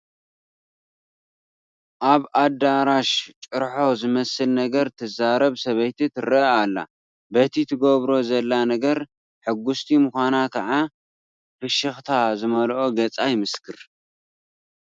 ኣብ ኣዳራሽ ጭርሆ ዝመስል ነገር ትዛረብ ሰበይቲ ትርአ ኣላ፡፡ በቲ ትገብሮ ዘላ ነገር ሕጉስቲ ምዃና ከዓ ፍሽኽታ ዝመልኦ ገፃ ይምስክር፡፡